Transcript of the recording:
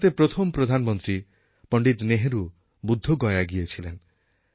ভারতের প্রথম প্রধানমন্ত্রী পণ্ডিত নেহরু বুদ্ধগয়ায় গিয়েছিলেন